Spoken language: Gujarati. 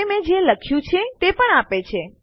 તે મેં જે લખ્યું છે તે પણ આપે છે